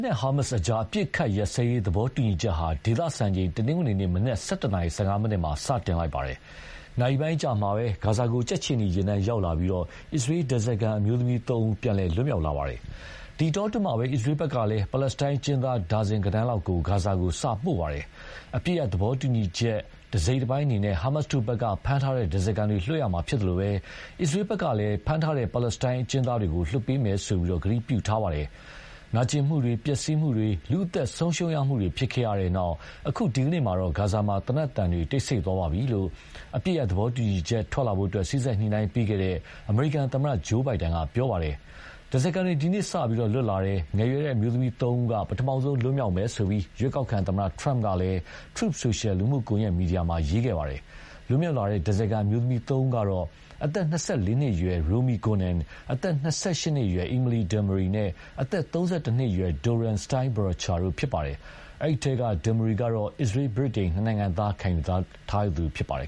းနဲ့ ဟာမတ်အကြား အပစ်အခတ်ရပ်စဲရေးသဘောတူညီချက်ဟာ ဒေသစံချိန် တနင်္ဂနွေနေ့ မနက် ၁၁ နာရီ ၁၅ မိနစ်မှာ စတင်လိုက်ပါတယ်။ နာရီပိုင်းအကြာမှာပဲ ဂါဇာကို ကြက်ခြေနီယာဉ်တန်းရောက်လာပြီး အစ္စရေး ဓါးစာခံအမျိုးသမီး သုံးဦး ပြန်လည်လွတ်မြောက်လာပါတယ်။ ဒီအတောအတွင်းမှာပဲ အစ္စရေးဖက်ကလည်း ပါလက်စတိုင်းအကျဉ်းသား ဒါဇင်ဂဏန်းကို ဂါဇာကို စပို့နေပါတယ်။ အပစ်ရပ်သဘောတူညီချက် အစိတ်အပိုင်းအနေနဲ့ ဟာမတ်တို့က ဖမ်းထားတဲ့ဓါးစာခံတွေလွှတ်ရမှာဖြစ်သလို၊ အစ္စရေးဖက်ကလည်း ဖမ်းထားတဲ့ ပါလက်စတိုင်းအကျဉ်းသားတွေကို လွှတ်ပေးမယ်လို့ ဂတိပြုထားပါတယ်။ နာကြင်မှုတွေ ပျက်စီးမှုတွေ လူ့အသက်ဆုံးရှုံးမှုတွေ ဖြစ်ခဲ့တြ့နောက်၊ အခု ဒီကနေ့မှာတော့ ဂါဇာမှာ သေနက်သံတွေ တိတ်ဆိတ်သွားပါပြီလို့ အပစ်ရပ်သဘောတူညီချက်ထွက်လာဖို့ စေ့စပ်ညှိုနှိုင်းပေးခဲ့တဲ့ အမေရိကန်သမ္မတ ဂျိုးဘိုင်ဒန်က ပြောပါတယ်။ ဓါးစာခံတွေ ဒီနေ့ စပြီ လွတ်လာတယ်၊ ငယ်ရွယ်တဲ့အမျိုးသမီးသုံးဦးက ပထမဆုံး လွတ်မြောက်မယ်လို့ ရွေးကောက်ခံသမ္မတ Trump ကလည်း Truth Social လူမှုကွန်ယက်မီဒီယာမှာ ရေးခဲ့ပါတယ်။ လွတ်မြောက်လာတဲ့ ဓါးစာခံအမျိုးသမီးသုံးဦးကတော့ အသက် ၂၄ နှစ်အရွယ် Romi Gonen အသက် ၂၈နှစ်အရွယ် Emily Damari နဲ့ အသက် ၃၁နှစ်အရွယ် Doron Steinbrecher တို့ဖြစ်ကြပါတယ်။ အဲဒီအထဲက Damari ကတော့ အစ္စရေး ဗြိတိန် နှစ်နိုင်ငံသားခံယူထားသူဖြစ်ပါတယ်